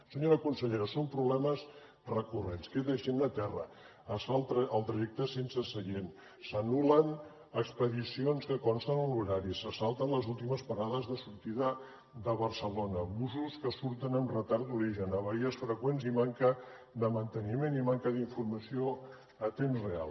senyora consellera són problemes recurrents queda gent a terra es fa el trajecte sense seient s’anul·len expedicions que consten en l’horari se salten les últimes parades de sortida de barcelona busos que surten amb retard d’origen averies freqüents i manca de manteniment i manca d’informació a temps real